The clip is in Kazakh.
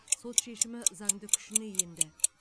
сот шешімі заңды күшіне енді